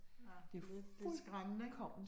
Ja, men det det skræmmende, ik